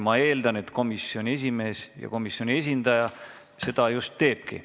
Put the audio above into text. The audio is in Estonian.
Ma eeldan, et komisjoni esimees komisjoni esindajana seda just tutvustabki.